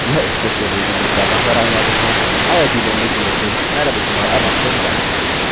यह स्क्रिप्ट देवेन्द्र कैरवान द्वारा अनुवादित है आईआईटी मुम्बई की ओर से मैं रवि कुमार अब आपसे विदा लेता हूँ